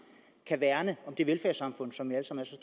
kan værne om det velfærdssamfund som